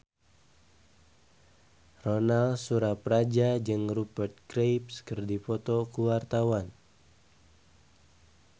Ronal Surapradja jeung Rupert Graves keur dipoto ku wartawan